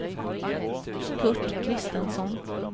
Curt Christensson